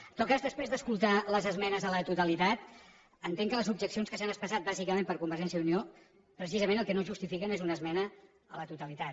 en tot cas després d’escoltar les esmenes a la totalitat entenc que les objeccions que s’han expressat bàsicament per convergència i unió precisament el que no justifiquen és una esmena a la totalitat